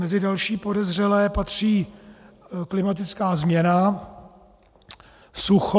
Mezi další podezřelé patří klimatická změna, sucho.